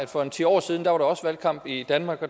for en ti år siden også var valgkamp i danmark